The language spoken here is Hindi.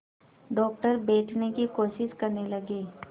डॉक्टर बैठने की कोशिश करने लगे